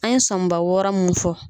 An ye sɔminba wɔɔrɔ min fɔ.